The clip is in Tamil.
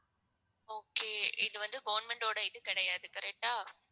okay இது வந்து government ஓட இது கிடையாது correct ஆ